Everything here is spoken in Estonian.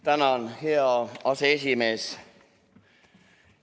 Tänan, hea aseesimees!